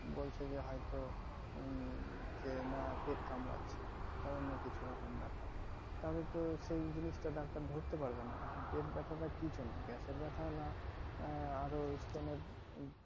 বলছে যে হয়তো উম যে না পেট কামড়াচ্ছে বা অন্য কিছু রকম ব্যাপার তাহোলে তো সেই জিনিষটা ডাক্তার ধরতে পারবেনা পেট ব্যাথাটা কি জন্য gas এর ব্যাথা না আহ আর ওই stone এর